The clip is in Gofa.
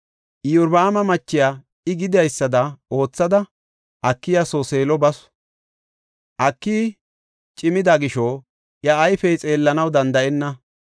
Iyorbaama machiya I gidaysada oothada Akiya soo Seelo basu. Akiyi cimida gisho iya ayfey xeellanaw danda7enna.